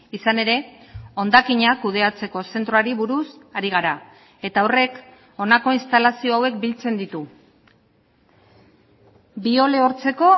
izan ere hondakinak kudeatzeko zentroari buruz ari gara eta horrek honako instalazio hauek biltzen ditu biolehortzeko